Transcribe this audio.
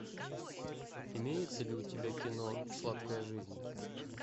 имеется ли у тебя кино сладкая жизнь